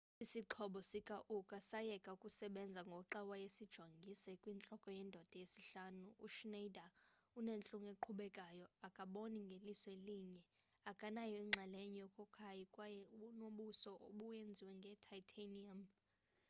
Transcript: isixhobo sikauka sayeka ukusebenza ngoxa wayesijongise kwintloko yendoda yesihlanu uschneider unentlungu eqhubekayo akaboni ngeliso elinye akanayo inxalenye yokakayi kwaye unobuso obenziwe nge-titanium